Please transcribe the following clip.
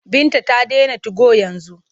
Binta ta dena tigo yanzu.